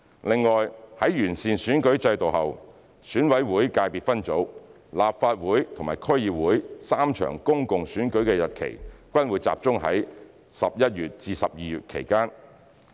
另外，在完善選舉制度後，選委會界別分組、立法會和區議會3場公共選舉的日期均會集中在11月至12月期間。